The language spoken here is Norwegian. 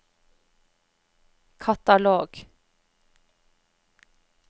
katalog